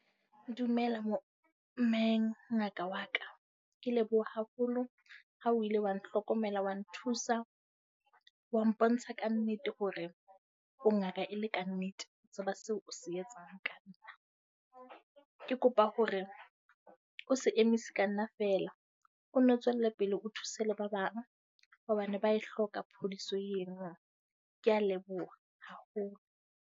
Dumela mme ngaka wa ka. Ke leboha haholo, ha o ile wa nhlokomela wa nthusa. Wa mpontsha kannete hore o ngaka e le kannete. O tseba seo o se etsang ka nna. Ke kopa hore o se emise ka nna feela. O nno tswelle pele o thuse le ba bang hobane ba e hloka phodiso eo. Ke a leboha haholo.